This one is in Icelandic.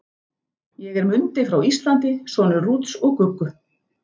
Ég er Mundi frá Íslandi, sonur Rúts og Guggu.